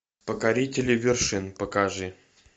покорители вершин покажи